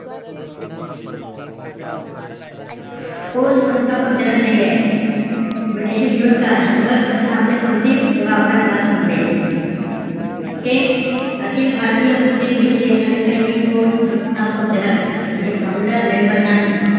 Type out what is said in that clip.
कोण संस्थापक जनक नाहीये? तुम्ही tension घेऊ नका. शंभर प्रश्न आपले संपतील तेव्हा आपला class संपेल. okay? अखिल भारतीय मुस्लिम लीगचे, खालील पैकी कोण संस्थापक जनक, म्हणजे founder member नाही?